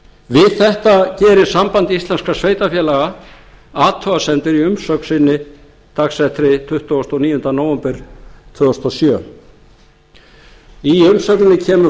við þetta gerir samband íslenskra sveitarfélaga athugasemdir í umsögn sinni dagsettri tuttugasta og níunda nóvember tvö þúsund og sjö í umsögninni kemur